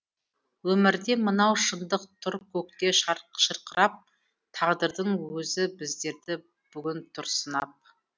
өмірде мынау шындық тұр көкте шырқырап тағдырдың өзі біздерді бүгін тұр сынап